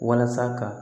Walasa ka